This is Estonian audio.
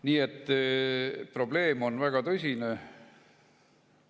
Nii et probleem on väga tõsine.